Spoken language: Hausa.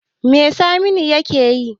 Me saminu yakeyi?